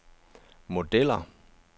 modeller